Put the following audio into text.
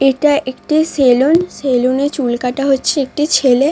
এটা একটি সেলুন । সেলুন এ চুল কাটা হচ্ছে একটি ছেলে।